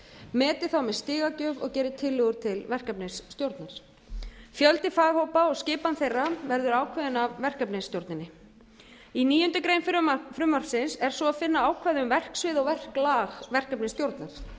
meti það með stigagjöf og geri tillögu til verkefnisstjórnar fjöldi faghópa og skipan þeirra verður ákveðin af verkefnisstjórninni í níundu grein frumvarpsins er svo að finna ákvæði um verksvið og verklag verkefnisstjórnar verkefnisstjórnin